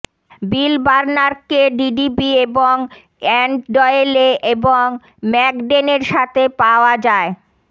বিল বার্নার্কে ডিডিবি এবং এনড ডয়েলে এবং ম্যাক ডেনের সাথে পাওয়া যায়